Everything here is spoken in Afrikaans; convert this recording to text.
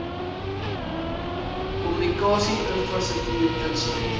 kommunikasie infrastruktuur insluit